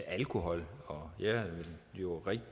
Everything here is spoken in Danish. alkohol og jeg vil jo